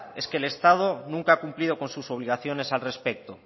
es que el estado nunca ha cumplido con sus obligaciones al respecto